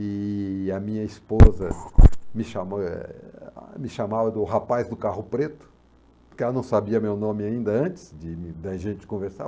E a minha esposa me chamou, eh a, me chamava do rapaz do carro preto, porque ela não sabia meu nome ainda antes de da gente conversar.